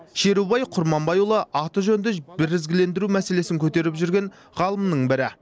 шерубай құрманбайұлы аты жөнді бірізгілендіру мәселесін көтеріп жүрген ғалымның бірі